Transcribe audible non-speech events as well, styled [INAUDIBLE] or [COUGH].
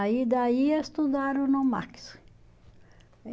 Aí daí estudaram no [UNINTELLIGIBLE]